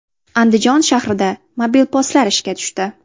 Andijon shahrida mobil postlar ishga tushdi.